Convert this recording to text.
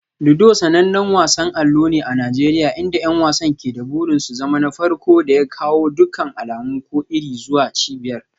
Ludo sanannen wasan allo ne a Najeriya inda 'yan wasan ke da burin su zama na farko da ya kawo dukkan alamu ko iri zuwa cibiyar.